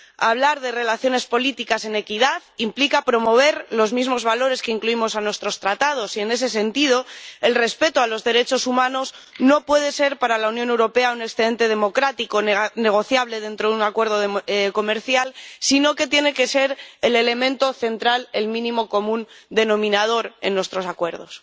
Hablar de relaciones políticas en equidad implica promover los mismos valores que incluimos en nuestros Tratados y, en ese sentido, el respeto a los derechos humanos no puede ser para la Unión Europea un excedente democrático negociable dentro de un acuerdo de comercial, sino que tiene que ser el elemento central, el mínimo común denominador en nuestros acuerdos.